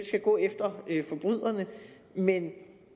skal gå efter forbryderne men at